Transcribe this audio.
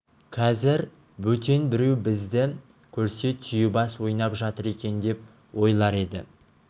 қазір бөтен біреу бізді көрсе түйебас ойнап жатыр екен деп ойлар еді